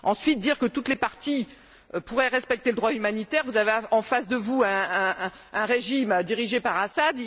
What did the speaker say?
Vous dites que toutes les parties pourraient respecter le droit humanitaire alors que vous avez en face de vous un régime dirigé par Assad.